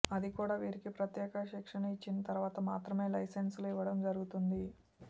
అది కూడా వీరికి ప్రత్యేక శిక్షణ ఇచ్చిన తర్వాత మాత్రమే లైసెన్సులు ఇవ్వడం జరుగుతుంది